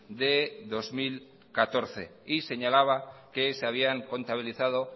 de dos mil catorce y señalaba que se habían contabilizado